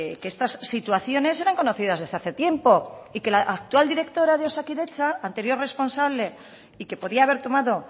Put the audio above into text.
que estas situaciones eran conocidas desde hace tiempo y que la actual directora de osakidetza anterior responsable y que podía haber tomado